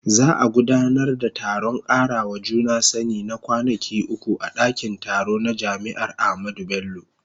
Za a gudanar da taron karawa juna sani na kwanaki uku a dakin taro na jami'ar Ahmadu Bello.